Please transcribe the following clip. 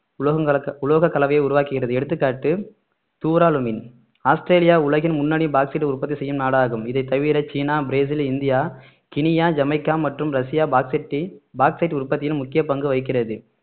உலோகங்கலக்க~ உலோகக்கலவையை உருவாக்குகிறது எடுத்துக்காட்டு துராலுமின் ஆஸ்திரேலியா உலகின் முன்னணி பாக்ஸைட் உற்பத்தி செய்யும் நாடாகும் இதைத் தவிர China Brazil India Guinea Jamaica மற்றும் ரஷ்யா பாக்ஸைட்டை பாக்ஸைட் உற்பத்தியில் முக்கிய பங்கு வகிக்கிறது